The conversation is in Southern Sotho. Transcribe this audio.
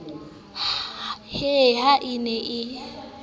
he ha e ne e